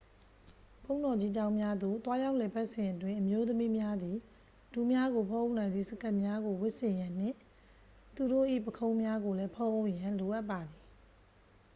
ဘုန်းတော်ကြီးကျောင်းများသို့ သွားရောက်လည်ပတ်စဉ်အတွင်း အမျိုးသမီးများသည် ဒူးများကို ဖုံးအုပ်နိုင်သည့် စကတ်များကို ဝတ်ဆင်ရန်နှင့် သူတို့၏ ပုခုံးများကိုလည်း ဖုံးအုပ်ရန် လိုအပ်ပါသည်